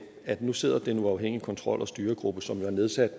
at der nu sidder den uafhængige kontrol og styregruppe som jo er nedsat